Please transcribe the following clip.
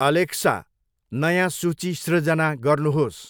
Alexa, नयाँ सूची सृर्जना गर्नुहोस्।